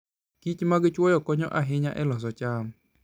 kichmag chwoyo konyo ahinya e loso cham.